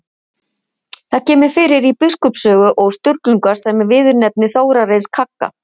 Það kemur fyrir í Biskupasögum og Sturlungu sem viðurnefni Þórarins kagga.